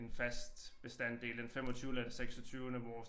En fast bestanddel den femogtyvende eller seksogtyvende hvor